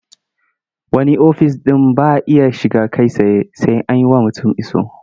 Wani ofis ɗin ba a iya shiga kai tsaye sai an yi wa mutum iso.